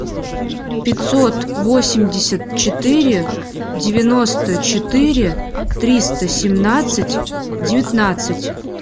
пятьсот восемьдесят четыре девяносто четыре триста семнадцать девятнадцать